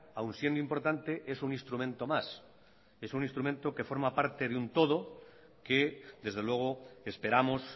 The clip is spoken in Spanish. aún siendo importante es un instrumento más es un instrumento que forma parte de un todo que desde luego esperamos